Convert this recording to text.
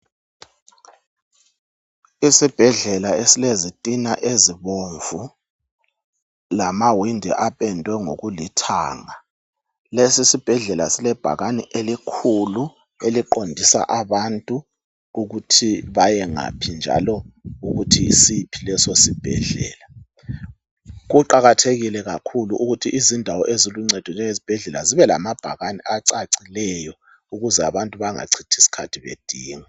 Isibhedlela esilezitina ezibomvu lamawindi apendwe ngokulithanga. Lesi isibhedlela silebhakani elikhulu eliqondisa abantu ukuthi bayengaphi njalo ukuthi yisiphi leso sibhedlela. Kuqakathekile kakhulu ukuthi izindawo eziluncedo njengezibhedlela zibe lamabhakani acacileyo ukuze abantu bangachithi isikhathi bedinga.